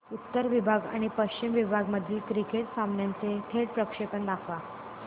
उत्तर विभाग आणि पश्चिम विभाग मधील क्रिकेट सामन्याचे थेट प्रक्षेपण दाखवा